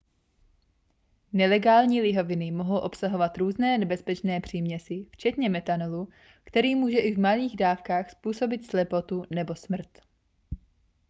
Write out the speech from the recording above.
nelegální lihoviny mohou obsahovat různé nebezpečné příměsi včetně methanolu který může i v malých dávkách způsobit slepotu nebo smrt